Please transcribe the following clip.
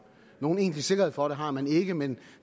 nogen egentlig sikkerhed for det har man ikke men